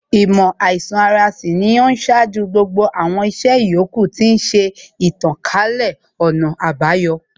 Īmò àīsan ara sì ni ó ṣáájú gbogbo àwọn ìṣe yòókù, tí ó ń ṣe ìtànkálẹ̀ ọ̀nà àbayọ